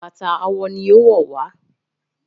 Bàtà àwo ní owó wá.